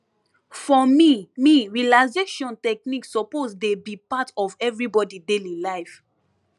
for me me relaxation technique suppose dey be part of everybody daily life